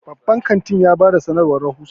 babban kantin ya ba da sanarwar rahusa